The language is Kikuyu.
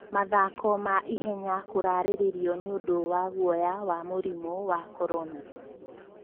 Mathako ma ihenya kũrarĩrĩrio nĩondo wa guoya wa mũrimũ wa Korona